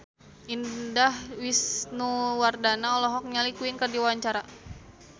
Indah Wisnuwardana olohok ningali Queen keur diwawancara